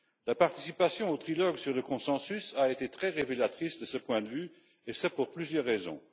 La participation au trilogue sur le consensus a été très révélatrice de ce point de vue, et ce pour plusieurs raisons.